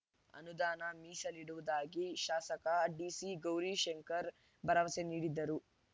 ಅನುದಾನ ಮೀಸಲಿಡುವುದಾಗಿ ಶಾಸಕ ಡಿಸಿ ಗೌರಿಶಂಕರ್ ಭರವಸೆ ನೀಡಿದರು